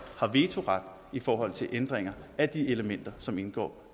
har vetoret i forhold til ændringer af de elementer som indgår